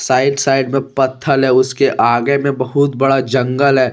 Right side में पथल है उसके आगे में बहुत बड़ा जंगल है।